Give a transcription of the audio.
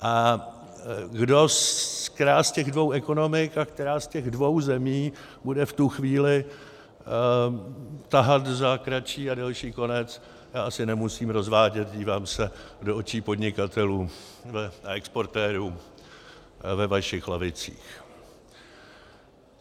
A která z těch dvou ekonomik a která z těch dvou zemí bude v tu chvíli tahat za kratší a delší konec, to asi nemusím rozvádět - dívám se do očí podnikatelů a exportérů ve vašich lavicích.